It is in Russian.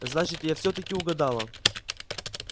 значит я всё-таки угадала